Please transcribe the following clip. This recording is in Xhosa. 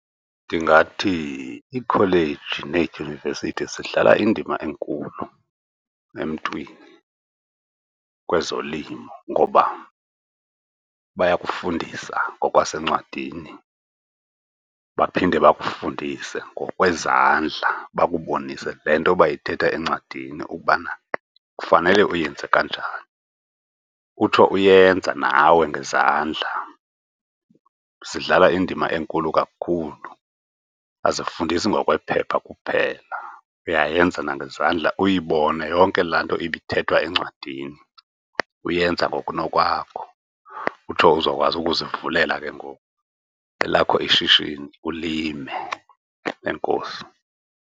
Ndingathi iikholeji needyunivesithi zidlala indima enkulu emntwini kwezolimo ngoba bayakufundisa ngokwasencwadini, baphinde bakufundise ngokwezandla bakubonise le nto bayithetha encwadini ukubana kufanele uyenze kanjani, utsho uyenza nawe ngezandla. Zidlala indima enkulu kakhulu, azifundisi ngokwephepha kuphela. Uyayenza nangezandla uyibone yonke laa nto ibithethwa encwadini uyenze ngokunokwakho. Utsho uzokwazi ukuzivulela ke ngoku elakho ishishini, ulime. Enkosi.